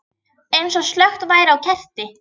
Eins og slökkt væri á kerti.